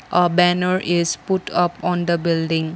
a banner is put up on the building.